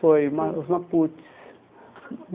Foi, o Ma os Maputes.